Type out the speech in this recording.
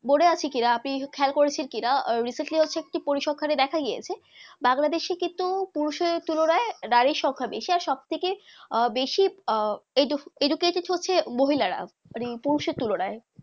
মনে আছে কি না আপনি খেয়াল ককরেছে কি না আহ recently হচ্ছে একটি পরিশাকে দেখা গিয়েছে বাংলাদেশে কিন্তু পুরুষের তুলনায় নারীর সংখ্যা বেশি আর সব থেকে আহ বেশি আহ edu educated হচ্ছে মহিলা রা পুরুষের তুলনায়